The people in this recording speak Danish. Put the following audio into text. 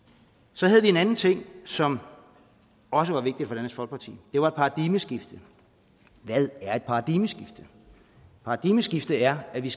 så havde vi en anden ting som også var vigtig for dansk folkeparti det var paradigmeskiftet hvad er et paradigmeskift et paradigmeskift er at vi